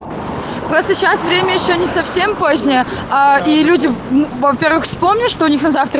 просто сейчас время ещё не совсем позднее а и люди во-первых вспомнят что у них на завтра